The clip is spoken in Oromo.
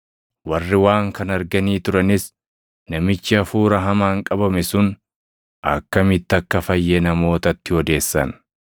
Warri waan kana arganii turanis namichi hafuura hamaan qabame sun akkamitti akka fayye namootatti odeessan.